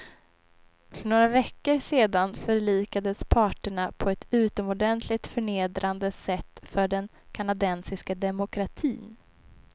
För några veckor sedan förlikades parterna på ett utomordentligt förnedrande sätt för den kanadensiska demokratin.